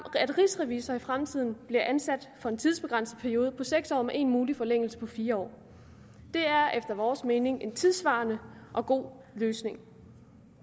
at rigsrevisorer i fremtiden bliver ansat for en tidsbegrænset periode på seks år med en mulig forlængelse på fire år det er efter vores mening en tidssvarende og god løsning